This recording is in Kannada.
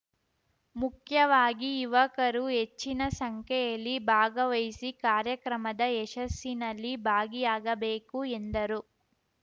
ಮುಖ್ಯವಾಗಿ ಯುವಕರು ಹೆಚ್ಚಿನ ಸಂಖ್ಯೆಯಲ್ಲಿ ಭಾಗವಹಿಸಿ ಕಾರ್ಯಕ್ರಮದ ಯಶಸ್ಸಿನಲ್ಲಿ ಭಾಗಿಯಾಗಬೇಕು ಎಂದರು